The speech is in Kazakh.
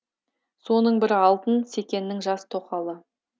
соның бірі алтын секеннің жас тоқалы